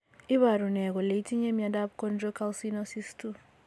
Iporu ne kole itinye miondap Chondrocalcinosis 2?